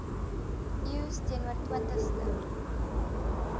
eeus teenoor twintigste